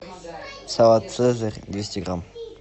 салат цезарь двести грамм